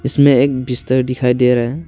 इसमें एक बिस्तर दिखाई दे रहा है।